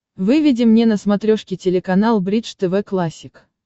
выведи мне на смотрешке телеканал бридж тв классик